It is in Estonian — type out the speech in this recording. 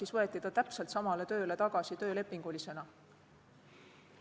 Ta võeti täpselt samale tööle tagasi töölepingulise töötajana.